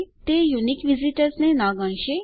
તે યુનિક વિઝીટર્સને ન ગણશે